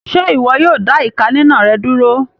Ṣe iwọ yóò dá ìká ninà rẹ dúró?